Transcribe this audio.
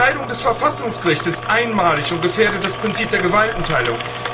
Die Beschneidung des Verfassungsgerichts ist einmalig und gefährdet das Prinzip der Gewaltenteilung.